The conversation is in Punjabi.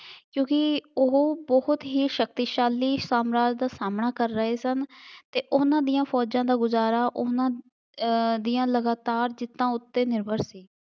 ਕਿਉਂਕਿ ਉਹ ਬਹੁਤ ਹੀ ਸ਼ਕਤੀਸ਼ਾਲੀ ਸਾਮਰਾਜ ਦਾ ਸਾਹਮਣਾ ਕਰ ਰਹੇ ਸਨ ਅਤੇ ਉਹਨਾ ਦੀਆਂ ਫੌਜਾਂ ਦਾ ਗੁਜ਼ਾਰਾ ਉਹਨਾ ਅਹ ਦੀਆਂ ਲਗਾਤਾਰ ਜਿੱਤਾਂ ਉੱਤੇ ਨਿਰਭਰ ਸੀ।